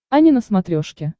ани на смотрешке